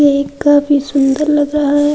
Cake काफी सुन्दर लग रहा हैं।